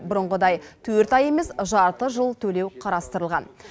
бұрынғыдай төрт ай емес жарты жыл төлеу қарастырылған